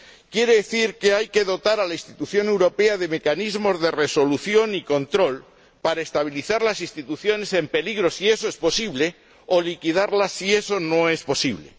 Quiere decir que hay que dotar a la institución europea de mecanismos de resolución y control para estabilizar las instituciones en peligro, si eso es posible, o liquidarlas, si eso no es posible.